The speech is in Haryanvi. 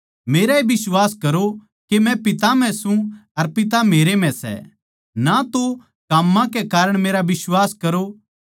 मेराए बिश्वास करो के मै पिता म्ह सूं अर पिता मेरै म्ह सै ना तो काम्मां कै कारण मेरा बिश्वास करो